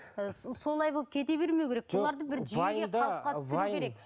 ы солай болып кете бермеу керек бұларды